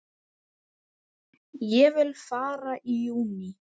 Vil ég fara í júní?